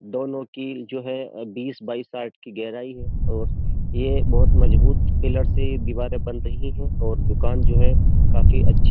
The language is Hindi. दोनों की जो है अ बीस बाईस आठ की गहराई है और ये बहोत मजबूत पिलर से दीवारें बन रही है और दुकान जो है काफी अच्छी --